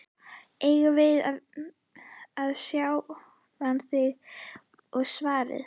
Eigðu það við sjálfan þig, var svarið.